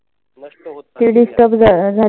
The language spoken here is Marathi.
नष्ट होत चाललेली आहे.